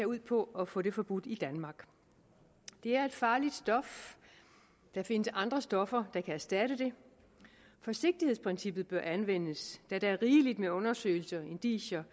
ud på at få det forbudt i danmark det er et farligt stof der findes andre stoffer der kan erstatte det forsigtighedsprincippet bør anvendes da der er rigeligt med undersøgelser indicier